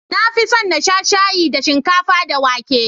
Na fin son na sha shayi da shinkafa da wake.